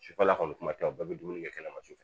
Sufɛla kɔni kuma tɛ bɛɛ bɛ dumuni kɛ kɛnɛma sufɛ